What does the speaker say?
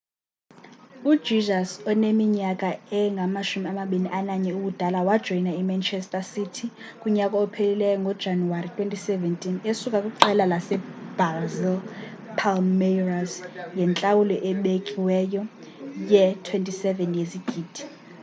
ujesus oneminyaka engama-21 ubudala wajoyina imanchester city kunyaka ophelileyo ngojanuwari 2017 esuka kwiqela lasebrazil ipalmeiras ngentlawulo ebikiweyo ye-£ 27 yezigidi